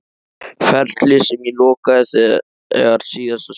Ferli sem ég lokaði þegar síðasta sumar?